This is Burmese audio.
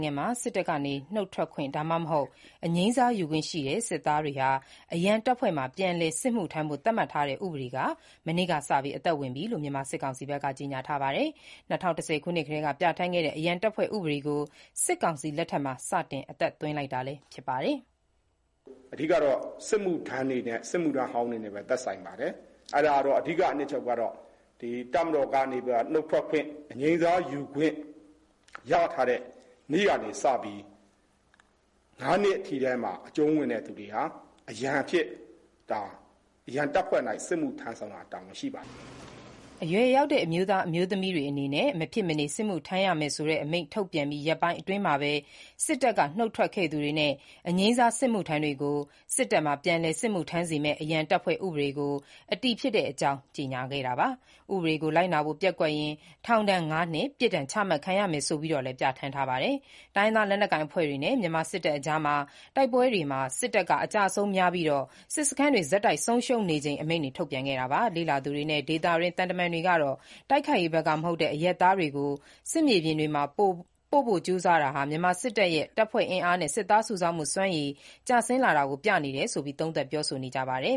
ုင်ငံမှာ စစ်တပ်ကနေ နုတ်ထွက်ခွင့်၊ ဒါမှမဟုတ် အငြိမ်းစားယူခွင့်ရှိတဲ့ စစ်သားတွေ လိုအပ်ရင် အရန်တပ်ဖွဲ့မှာ ၅ နှစ် စစ်မှုထမ်းဖို့ သတ်မှတ်ထားတဲ့ ၂၀၁၀ ခုနှစ်က ပြဌာန်းထားတဲ့ အမိန့် မနေ့ကစ အတည်ဖြစ်တဲ့အကြောင်း မြန်မာစစ်ကောင်စီက ကြေညာပါတယ်။ ၂၀၁၀ ခုနှစ် ဗိုလ်ချုပ်မှူးကြီးဟောင်း သန်းရွှေ လက်ထက်မှာ ပြဌာန်းခဲ့တဲ့ အရန်တပ်ဖွဲ့ဥပဒေကို စတင် အသက်သွင်းလိုက်တာ ဖြစ်ပါတယ်။ "အဓိကကတော့ စစ်မှုထမ်းတွေ၊ စစ်မှုထမ်းဟောင်းတွေနဲ့ သက်ဆိုင်ပါတယ်။ အဓိကအနှစ်ချုပ်ကတော့ တပ်မတော်ကနေပြီးတော့ နှုတ်ထွက်ခွင့်၊ အငြိမ်းစားယူခွင့်ရထားတဲ့နေ့ကနေစပြီး ၅ နှစ်အထိထဲမှာ အကျုံးဝင်တဲ့ သူတွေဟာ အရန်အဖြစ်၊ အရန်တပ်ဖွဲ့မှာစစ်မှုထမ်းဆောင်ရန်တာဝန်ရှိပါတယ်။" - ဗိုလ်ချုပ်ဇော်မင်းထွန်း၊ စစ်ကောင်စီပြောခွင့်ရ ပြောသွားတာပါ။ အရွယ်ရောက်တဲ့ အမျိုးသား၊ အမျိုးသမီးတွေ မဖြစ်မနေ စစ်မှုထမ်းရမယ်ဆိုတဲ့ အမိန့်ထုတ်ပြန်ပြီး ရက်ပိုင်းအတွင်းမှာပဲ စစ်တပ်က အငြိမ်းစားယူထားသူတွေအတွက် အရန်တပ်ဖွဲ့ဥပဒေ အတည်ဖြစ်တဲ့အကြောင်း ကြေညာတာပါ။ ဥပဒေကို လိုက်နာဖို့ ပျက်ကွက်ရင် ထောင်ဒဏ် ငါးနှစ် ပြစ်ဒဏ်ချမှတ်ခံရမယ်ဆိုပြီးတော့လည်း ပြဌာန်းထားပါတယ်။ တိုင်းရင်းသားလက်နက်ကိုင် အဖွဲ့တွေနဲ့ မြန်မာစစ်တပ်အကြား တိုက်ပွဲတွေမှာ စစ်တပ်က အကျအဆုံးများပြီး စစ်စခန်းတွေ ဆက်တိုက် ဆုံးရှုံးနေချိန် အမိန့်တွေ ထုတ်ပြန်တာပါ။ လေ့လာသူတွေနဲ့ ဒေသတွင်း သံတမန်တွေကတော့ တိုက်ခိုက်ရေးဘက်က မဟုတ်တဲ့ အရပ်သားတွေကို စစ်မြေပြင်တွေမှာ ပို့ဖို့ ကြိုးစားတာဟာ မြန်မာစစ်တပ်ရဲ့ တပ်ဖွဲ့အင်အားနဲ့ စစ်သားစုဆောင်းမှု စွမ်းရည် ကျဆင်းလာတာကို ပြနေတယ်ဆိုပြီး သုံးသပ်ပြောဆိုနေပါတယ်